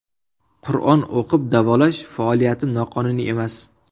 Qur’on o‘qib davolash faoliyatim noqonuniy emas.